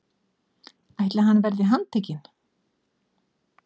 ætli hann verði handtekinn?